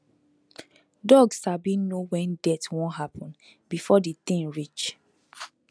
dog sabi know when death wan happen before the thing reach